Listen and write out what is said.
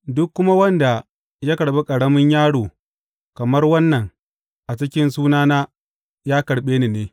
Duk kuma wanda ya karɓi ƙaramin yaro kamar wannan a cikin sunana ya karɓe ni ne.